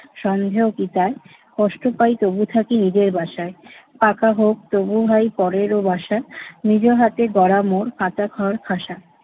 সন্দেহ কি তায়? কষ্ট পাই তবু থাকি নিজের বাসায়। পাকা হোক তবু ভাই পরের ও বাসা, নিজ হাতে গড়া মোর কাঁচা ঘর খাসা।